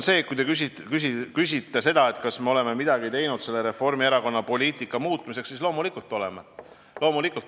Kui te küsite seda, kas me oleme midagi teinud Reformierakonna aetud poliitika muutmiseks, siis loomulikult oleme.